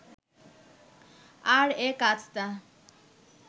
আর এই কাজটা